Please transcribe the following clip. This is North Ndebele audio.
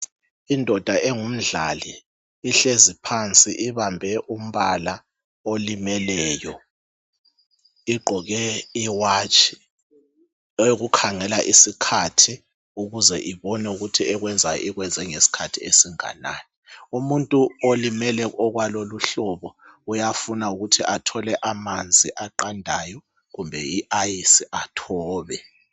indoda engumdlali ihlezi phansi ibambe umbala olimeleyo igqoke iwatshi eyokukhangela isikhathi ukuze ibone ukuthi ekuyenzayo ikwenze ngesikhathi esinganani umuntu olimele okwalelo uhlobe uyafuna ukuthi athole amanzi aqandayo kumbe iayisi athobe